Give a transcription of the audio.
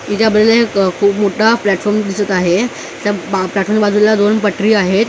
एक खूप मोठा प्लॅटफॉर्म दिसत आहे त्या प्लॅटफॉर्मच्या बाजूला दोन पटरी आहेत त्या बाजूला एक माळ--